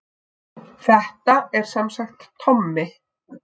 Þetta er semsagt Tommi